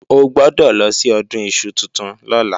O gbọ́dọ̀ lọ sí Ọdún iṣu tuntun lọ́la